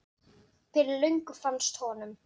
Fyrir löngu fannst honum.